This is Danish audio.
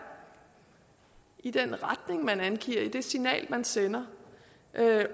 i den retning man angiver i det signal man sender